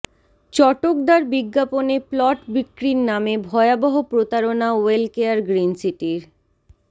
চটকদার বিজ্ঞাপনে প্লট বিক্রির নামে ভয়াবহ প্রতারণা ওয়েলকেয়ার গ্রীনসিটির